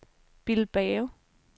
Bilbao